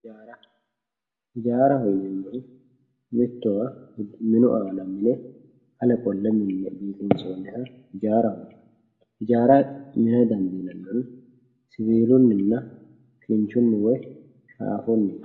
Ijara ijaraho yinemori mittowa minu ana mine urinsoniha ijaraho yinanni ijara mina dandinanihu siwukuninna woy kinchuni shafuniti